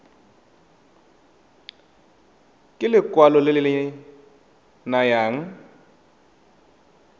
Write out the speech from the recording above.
ke lekwalo le le nayang